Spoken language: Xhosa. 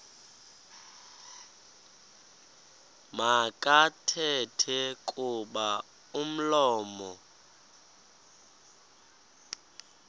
makathethe kuba umlomo